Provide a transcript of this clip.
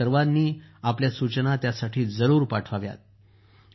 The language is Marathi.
आपण सर्वांनी आपल्या सूचना जरूर पाठवाव्यात